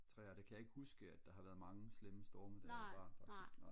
træer der kan jeg ikke huske at der har været mange slemme storme da jeg var barn faktisk nej